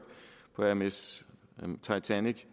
på ms titanic